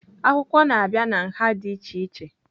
Akwụkwọ na-abịa na nha dị iche iche.